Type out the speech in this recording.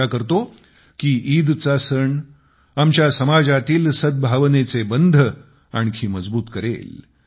आशा करतो की ईदचा सण आमच्या समाजातील सद्भावनेचे बंध आणखी मजबूत करेल